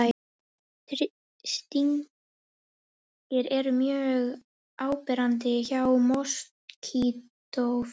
Þessir stingir eru mjög áberandi hjá moskítóflugum.